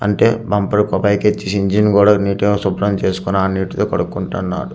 అంటే బంపర్ కు పైకెచ్చేసి ఇంజిన్ కూడా నీటుగా శుభ్రం చేసుకొని ఆ నీటితో కడుక్కుంటన్నారు.